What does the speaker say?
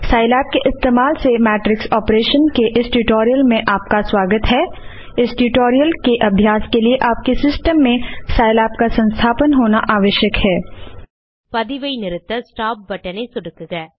Scilab के इस्तेमाल से मैट्रिक्स ऑपरेशन के इस ट्यूटोरियल में आपका स्वागत है इस ट्यूटोरियल के अभ्यास लिए आपके सिस्टम में साइलैब का संस्थापन होना आवश्यक है பதிவை நிறுத்த ஸ்டாப் பட்டன் ஐ சொடுக்குக